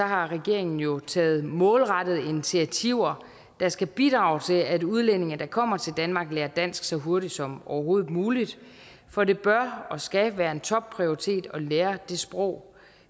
har regeringen jo taget målrettede initiativer der skal bidrage til at udlændinge der kommer til danmark lærer dansk så hurtigt som overhovedet muligt for det bør og skal være en topprioritet at lære det sprog